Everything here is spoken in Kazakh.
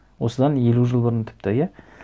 осыдан елу жыл бұрын тіпті иә